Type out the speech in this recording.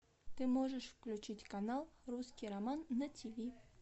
ты можешь включить канал русский роман на тв